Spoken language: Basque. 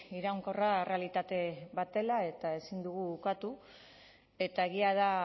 iraunkorra errealitate bat dela eta ezin dugu ukatu eta egia da